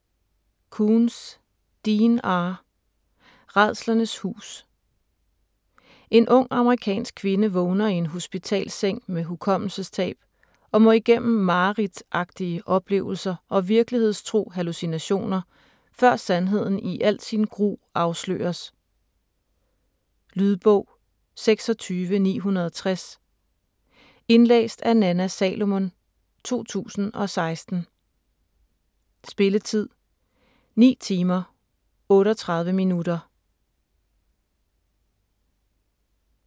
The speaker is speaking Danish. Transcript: Koontz, Dean R.: Rædslernes hus En ung amerikansk kvinde vågner i en hospitalsseng med hukommelsestab, og må igennem mareridtagtige oplevelser og virkelighedstro hallucinationer, før sandheden i al sin gru afsløres. Lydbog 26960 Indlæst af Nanna Salomon, 2006. Spilletid: 9 timer, 38 minutter.